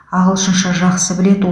ағылшынша жақсы біледі